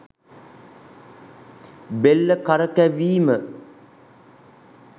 බෙල්ල කරකැවීම